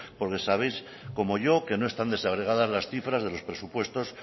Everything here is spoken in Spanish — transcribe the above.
porque sabéis como yo que no están desagregadas las cifras de los presupuestos